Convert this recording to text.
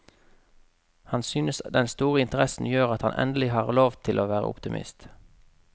Han synes den store interessen gjør at han endelig har lov til å være optimist.